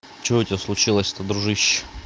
что у тебя случилось то дружище